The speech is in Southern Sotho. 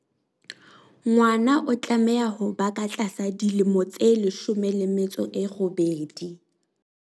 Ngwana o tlameha ho ba ka tlasa dilemo tse 18.